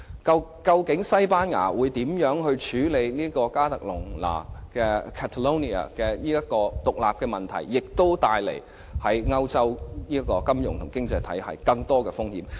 究竟西班牙會如何處理加泰隆尼亞的獨立索求，亦為歐洲的金融經濟體系帶來頗大風險。